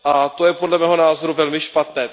To je, podle mého názoru, velmi špatné.